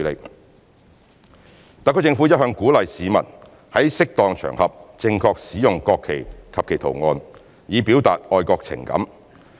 二及三特區政府一向鼓勵市民在適當場合正確使用國旗及其圖案，以表達愛國情感。